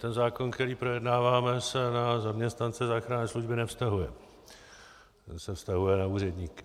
Ten zákon, který projednáváme, se na zaměstnance záchranné služby nevztahuje, ten se vztahuje na úředníky.